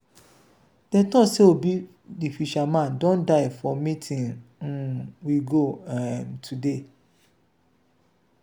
she come meeting come announce say she dey marry tomorrow